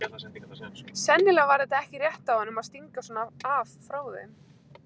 Sennilega var þetta ekki rétt af honum að stinga svona af frá þeim.